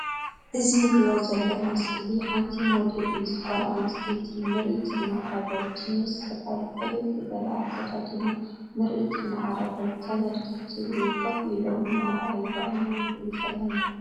እዚ ንሪኦ ሰለና ስእሊ ሓንቲ ሞዴሊስት ጓለ ኣንስተይቲ ምርኢታ እናቅረበት ጅንስ ስረ ብቅልል ዝበለ አከዳድና ምርኢታ እናቅረበት ተመልከትቲ እውን ኮፍ ኢሎም እናረኣይዋ ኢና ንርኢ ዘለና።